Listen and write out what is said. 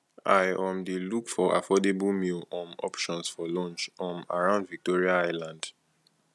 i um dey look for affordable meal um options for lunch um around victoria island